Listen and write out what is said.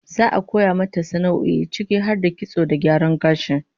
Za'a koya wa mata sana'o'i ciki har da kitso da gyaran gashi